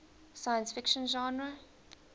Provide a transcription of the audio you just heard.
science fiction genre